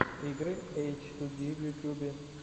игры эчтуди в ютюбе